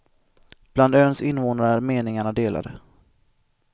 Bland öns innevånare är meningarna delade.